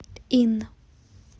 инн